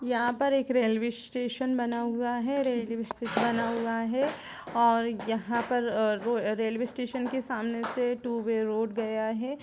यहां पर एक रेलवे स्टेशन बना हुआ है रेलवे स्टेशन बना हुआ है और यहां पर आ रेलवे स्टेशन के सामने से टू वे रोड गया है।